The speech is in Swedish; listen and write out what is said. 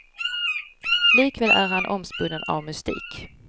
Likväl är han omspunnen av mystik.